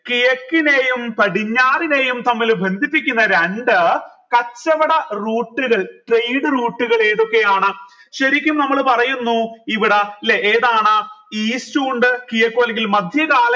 കിഴക്കിനെയും പടിഞ്ഞാറിനെയും തമ്മിൽ ബന്ധിപ്പിക്കുന്ന രണ്ട് കച്ചവട route കൾ trade route കൾ ഏതൊക്കെയാണ് ശരിക്കും നമ്മൾ പറയുന്നു ഇവിടെ ല്ലെ ഏതാണ് east ഉണ്ട് കിഴക്കു അല്ലെങ്കിൽ മധ്യ